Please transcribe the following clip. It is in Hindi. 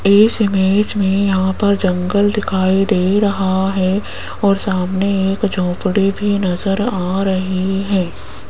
इस इमेज में यहां पर जंगल दिखाई दे रहा है और सामने एक झोपड़ी भी नजर आ रही है।